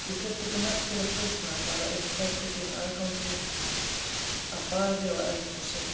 Ég þurfti ekki merkilegt húsnæði, bara eitt herbergi með aðgangi að baði og eldhúsi.